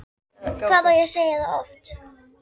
Hvað á ég að segja það oft?!